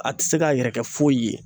A tɛ se k'a yɛrɛ kɛ foyi ye